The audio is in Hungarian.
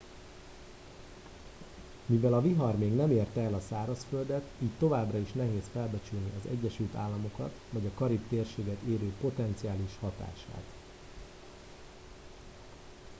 mivel a vihar még nem érte el a szárazföldet így továbbra is nehéz felbecsülni az egyesült államokat vagy a karib térséget érő potenciális hatását